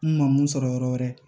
N ma mun sɔrɔ yɔrɔ wɛrɛ